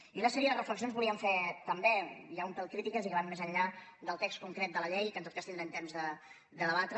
i una sèrie de reflexions volíem fer també ja un pèl crítiques i que van més enllà del text concret de la llei que en tot cas tindrem temps de debatre